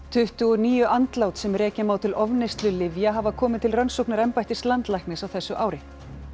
tuttugu og níu andlát sem rekja má til ofneyslu lyfja hafa komið til rannsóknar embættis landlæknis á þessu ári